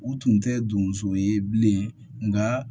U tun tɛ donso ye bilen nka